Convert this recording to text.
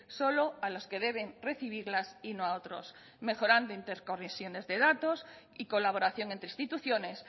solo a los que deben recibirlas y no a otros mejorando interconexiones de datos y colaboración entre instituciones